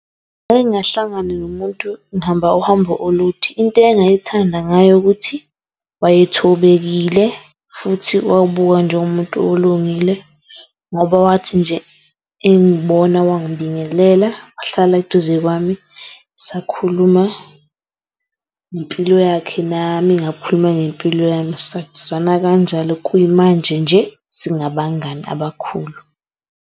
Ngake ngahlangana nomuntu, ngihamba uhambo olude. Into engayithanda ngaye ukuthi wayethobekile futhi wayebukeka njengomuntu olungile. Ngoba wathi nje engibona wangibingelela, wahlala eduze kwami. Sakhuluma ngempilo yakhe nami ngakhuluma ngempilo yami, sazwana kanjalo. Kuyimanje nje singabangani abakhulu.